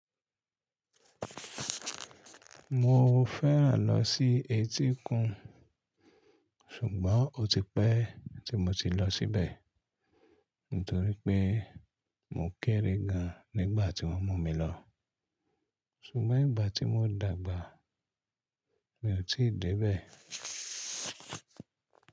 Mo fẹ́ràn lọ sí etíkun ṣùgbọ́n ó ti pẹ́ tí mo ti lọ síbẹ̀ nítorí pé mo kéré gan nígbà tí wọ́n mú mi lọ. Ṣùgbọ́n ìgbà tí mo dàgbà mi ò tí ì dé bẹ̀.